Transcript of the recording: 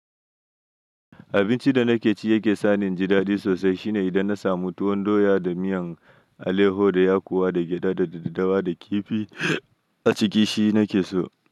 Abinci da nake ci yake sani injidaɗi sosai shine idan na samu tuwon doya da miyan alayyahu da yakuwa da gyaɗa da daddawa da kifi aciki shi nakeso.